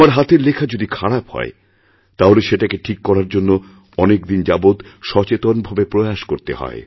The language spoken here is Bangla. আমার হাতের লেখা যদি খারাপ হয় তাহলে সেটাকে ঠিক করার জন্য অনেকদিন যাবৎ সচেতন ভাবে প্রয়াস করতে হয়